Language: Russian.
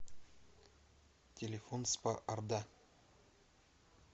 телефон спа орда